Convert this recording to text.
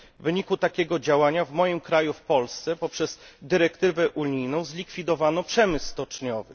W wyniku takiego działania w moim kraju, w Polsce, poprzez dyrektywę unijną zlikwidowano przemysł stoczniowy.